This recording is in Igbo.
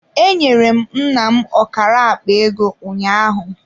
Enyere m nna m ọkara akpa ego ụnyaahụ.